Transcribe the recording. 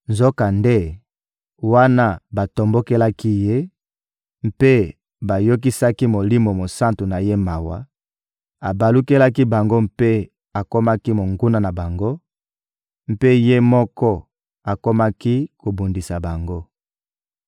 Nzokande, wana batombokelaki Ye mpe bayokisaki Molimo Mosantu na Ye mawa, abalukelaki bango mpe akomaki monguna na bango; mpe Ye moko akomaki kobundisa bango.